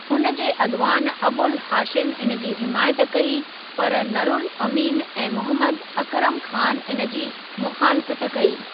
उन जे अॻिवान अबुल हाशिम इन जी हिमायत कई, पर नुरुल अमीन ऐं मोहम्मद अकरम ख़ान इन जी मुख़ालिफ़त कई।